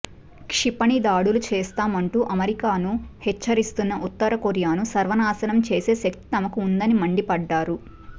క్షిపణి దాడులు చేస్తామంటూ అమెరికాను హెచ్చరిస్తున్న ఉత్తరకొరియాను సర్వనాశనం చేసే శక్తి తమకు ఉందని మండిపడ్డారు